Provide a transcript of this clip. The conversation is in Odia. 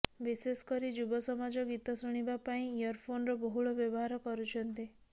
ବିଶେଷ କରି ଯୁବ ସମାଜ ଗୀତ ଶୁଣିବା ପାଇଁ ଇୟରଫୋନର ବହୁଳ ବ୍ୟବହାର କରୁଛନ୍ତି